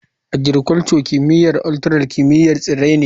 Agricul; kimiyyar ultural kimiyyar tsirrai ne.